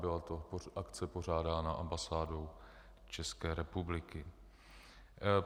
Byla to akce pořádaná ambasádou České republiky.